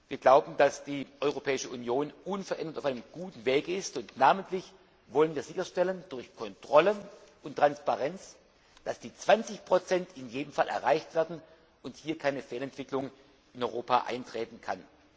Wir glauben, dass die Europäische Union unverändert auf einem guten Weg ist, und namentlich wollen wir sicherstellen durch Kontrollen und Transparenz, dass die 20 in jedem Fall erreicht werden und hier keine Fehlentwicklung in Europa eintreten kann.